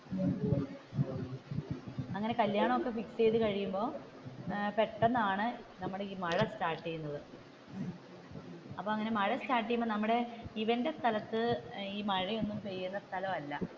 അങ്ങനെ കല്യാണം ഒക്കെ ഫിക്സ് ചെയ്തു കഴിയുമ്പോൾ പെട്ടെന്നാണ് നമ്മുടെ ഈ മഴ സ്റ്റാർട്ട് ചെയുന്നത് അപ്പോ നമ്മുടെ മഴ സ്റ്റാർട്ട് ചെയ്യുമ്പോ നമ്മുടെ ഇവന്റെ സ്ഥലത്തു മഴ ഒന്നും പെയ്യുന്ന സ്ഥലമല്ല